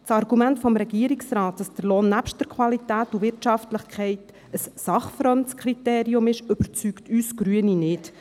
Das Argument es Regierungsrates, der Lohn sei nebst der Qualität und der Wirtschaftlichkeit ein sachfremdes Kriterium, überzeugt uns Grüne nicht.